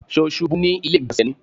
Ṣó ṣubú ní ilé ìgbọ̀nsẹ̀ ni?